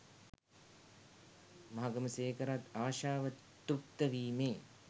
මහගමසේකරත් ආශාව තෘප්ත වීමේ